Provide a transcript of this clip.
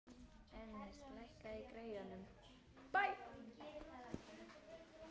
Ernest, lækkaðu í græjunum.